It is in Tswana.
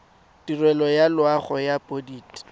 tirelo ya loago ya bodit